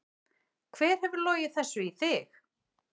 Hver hefur logið þessu í þig?